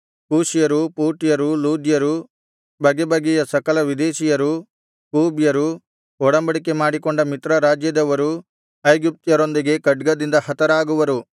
ಕೂಷ್ಯರು ಪೂಟ್ಯರು ಲೂದ್ಯರು ಬಗೆಬಗೆಯ ಸಕಲ ವಿದೇಶೀಯರು ಕೂಬ್ಯರು ಒಡಂಬಡಿಕೆ ಮಾಡಿಕೊಂಡ ಮಿತ್ರ ರಾಜ್ಯದವರೂ ಐಗುಪ್ತ್ಯರೊಂದಿಗೆ ಖಡ್ಗದಿಂದ ಹತರಾಗುವರು